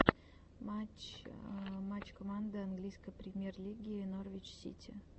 матч матч команды английской премьер лиги норвич сити